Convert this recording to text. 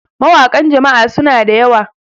mawakan Jama'a suna da yawa